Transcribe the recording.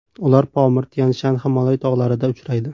Ular Pomir, Tyan-Shan, Himolay tog‘larida uchraydi.